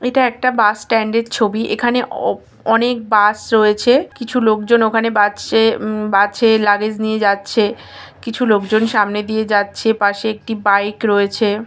এটা একটা bus stand এর ছবি এখানে অনেক বাস রয়েছে কিছু লোক জন ওখানে বাচ্ছে বাসে নিয়ে যাচ্ছে কিছু লোক জন সামনে দিয়ে যাচ্ছে পাশে একটি বাইক রয়েছে ।